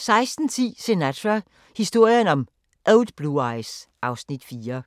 16:10: Sinatra – historien om Old Blue Eyes (Afs. 4)